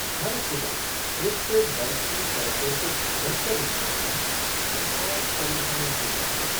हर सुबह फ़्रिज से बर्फ की परतों को खुरच कर निकालना बहुत परेशान करता है।